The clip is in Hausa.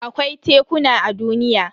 Akwai tekuna a duniya.